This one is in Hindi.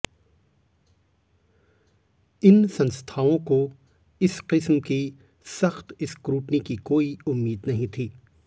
इन संस्थाओं को इस किस्म की सख्त स्क्रूटनी की कोई उम्मीद नहीं थी